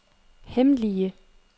hemmelige